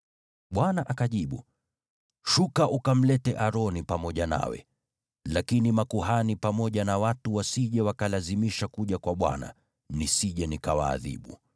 Bwana akajibu, “Shuka ukamlete Aroni pamoja nawe. Lakini makuhani pamoja na watu wasije wakalazimisha kuja kwa Bwana , nisije nikawaadhibu.”